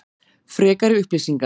Frekari upplýsingar: